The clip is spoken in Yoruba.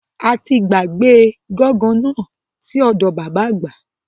Ati gbàgbé gángan náà sí ọdọ bàbá àgbà